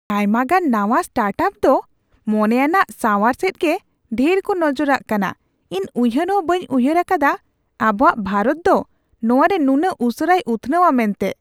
ᱟᱭᱢᱟᱜᱟᱱ ᱱᱟᱶᱟ ᱥᱴᱟᱨᱴᱟᱯ ᱫᱚ ᱢᱚᱱᱮᱭᱟᱱᱟᱜ ᱥᱟᱶᱟᱨ ᱥᱮᱡᱜᱮ ᱰᱷᱮᱨ ᱠᱚ ᱱᱚᱡᱚᱨᱟᱜ ᱠᱟᱱᱟ ! ᱤᱧ ᱩᱭᱦᱟᱹᱨ ᱦᱚᱸ ᱵᱟᱹᱧ ᱩᱭᱦᱟᱹᱨ ᱟᱠᱟᱫᱟ ᱟᱵᱚᱣᱟᱜ ᱵᱷᱟᱨᱚᱛ ᱫᱚ ᱱᱚᱣᱟᱨᱮ ᱱᱩᱱᱟᱹᱜ ᱩᱥᱟᱹᱨᱟᱭ ᱩᱛᱷᱱᱟᱹᱣᱼᱟ ᱢᱮᱱᱛᱮ ᱾